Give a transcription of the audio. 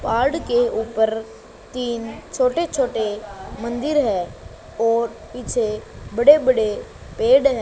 पहाड़ के ऊपर तीन छोटे छोटे मंदिर है और पीछे बड़े बड़े पेड़ है।